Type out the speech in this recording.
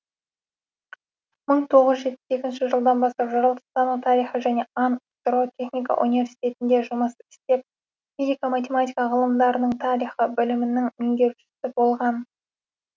мың тоғыз жүз жетпіс екінші жылдан бастап жаратылыстану тарихы және ан ксро техника университетінде жұмыс істеп физика математика ғылымдарының тарихы білімінің меңгерушісі болған